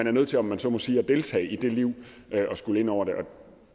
er nødt til om man så må sige at deltage i det liv og at skulle ind over det og